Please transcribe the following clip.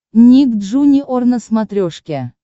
ник джуниор на смотрешке